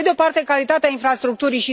Pe de o parte, calitatea infrastructurii.